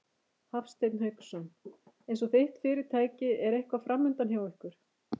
Hafsteinn Hauksson: Eins og þitt fyrirtæki er eitthvað framundan hjá ykkur?